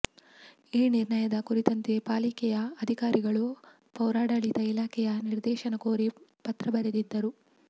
ಈ ನಿರ್ಣಯದ ಕುರಿತಂತೆ ಪಾಲಿಕೆಯ ಅಧಿಕಾರಿಗಳು ಪೌರಾಡಳಿತ ಇಲಾಖೆಯ ನಿರ್ದೇಶನ ಕೋರಿ ಪತ್ರ ಬರೆದಿದ್ದರು